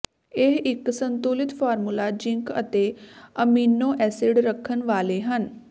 ਇਹ ਇੱਕ ਸੰਤੁਲਿਤ ਫਾਰਮੂਲਾ ਜ਼ਿੰਕ ਅਤੇ ਅਮੀਨੋ ਐਸਿਡ ਰੱਖਣ ਵਾਲੇ ਹਨ